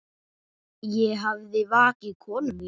Ég hafði vakið konu mína.